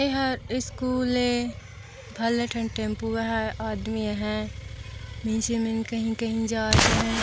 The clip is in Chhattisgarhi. यह ईस्कूल है भलट एण्ड टेम्पो है आदमी है निचे मन कही कही जात है।